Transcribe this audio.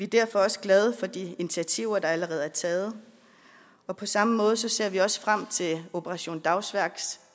derfor også glade for de initiativer der allerede er taget på samme måde ser vi også frem til operation dagsværks